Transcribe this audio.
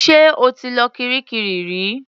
Ṣé o ti lọ kiríkirì rí?